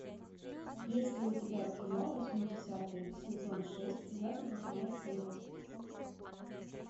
есть ли у тебя кино восьмидесятые сезон шесть двадцать восьмая серия